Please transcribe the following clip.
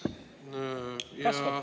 Kasvab!